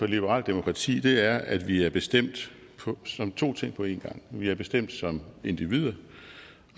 liberalt demokrati er at vi er bestemt som to ting på en gang vi er bestemt som individer